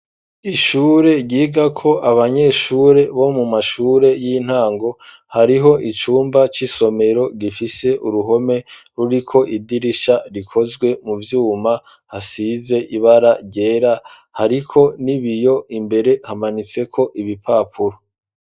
Ishure ryiga ko abanyeshure, bo mu mashure y'intango, hariho icumba c'isomero gifise uruhome ruri ko idirisha rikozwe mu vyuma, hasize ibara ryera ,hariko nibiyo imbere hamanitse ko ibipapuro.